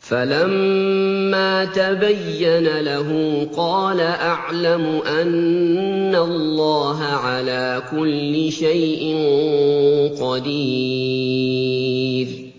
فَلَمَّا تَبَيَّنَ لَهُ قَالَ أَعْلَمُ أَنَّ اللَّهَ عَلَىٰ كُلِّ شَيْءٍ قَدِيرٌ